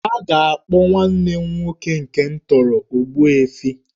A ga-akpọ nwanne m nwoke nke m tọrọ 'Ogbuefi'